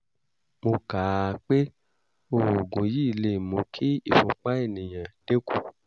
mo kà á pé oògùn yìí lè mú kí ìfúnpá ènìyàn dínkù